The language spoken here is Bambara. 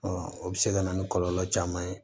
o bɛ se ka na ni kɔlɔlɔ caman ye